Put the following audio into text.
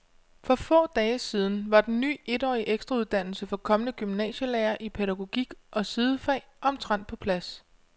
For få dage siden var den ny etårige ekstrauddannelse for kommende gymnasielærere i pædagogik og sidefag omtrent på plads.